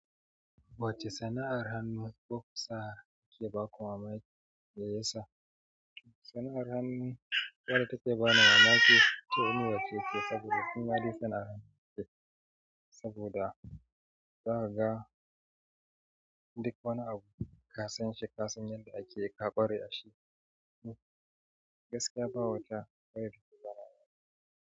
Wacce sana'ar hannu ku ka sa je baku mamaki, me yasa? Sana'ar hannu wadda take ba na mamaki ce. Uniwace ce saboda tun hade sana'ar ce saboda zaka ga duk wani abu ka san shi, ka san yadda ake ka ƙware a shi. Gaskiya ba wata ƙwaya fitilara.